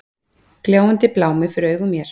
Gljáandi blámi fyrir augum mér.